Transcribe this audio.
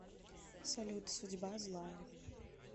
салют судьба злая